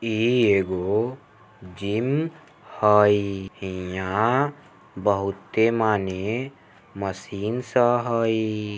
ई एगो जिम हई यहाँ बहुत माने मशीन सब हई।